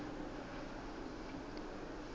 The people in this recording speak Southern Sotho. peo ya ona e ka